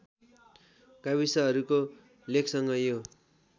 गाविसहरूको लेखसँग यो